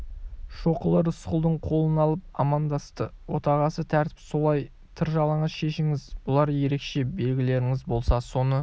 шоқұлы рысқұлдың қолын алып амандасты отағасы тәртіп солай тыр жалаңаш шешініңіз бұлар ерекше белгілеріңіз болса соны